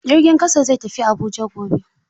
Jirgin ƙasa zai tafi Abuja gobe.